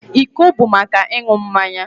Iko bụ maka ịṅụ mmanya